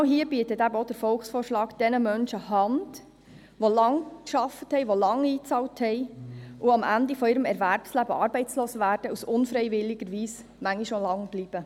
Genau hier bietet der Volksvorschlag jenen Menschen Hand, die lange gearbeitet und einbezahlt haben, am Ende ihres Erwerbslebens arbeitslos werden und dies unfreiwillig manchmal auch lange bleiben.